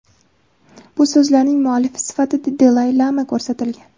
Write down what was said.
Bu so‘zlarning muallifi sifatida Dalay-lama ko‘rsatilgan.